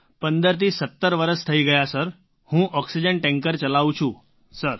sir ૧૫થી ૧૭ વર્ષ થઈ ગયા સર હું ઑક્સિજન ટૅન્કર ચલાવું છું સર